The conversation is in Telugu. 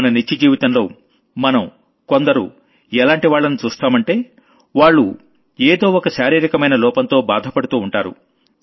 మన నిత్య జీవితంలో మనం కొందరు ఎలాంటి వాళ్లను చూస్తామంటే వాళ్లు ఏదో ఒక శారీరకమైన లోపంతో బాధపడుతూ ఉంటారు